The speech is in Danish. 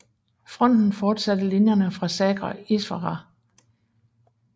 Fronten fortsatte linjerne fra Saga Iswara